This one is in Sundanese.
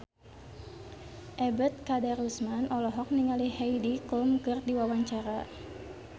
Ebet Kadarusman olohok ningali Heidi Klum keur diwawancara